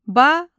Balıq.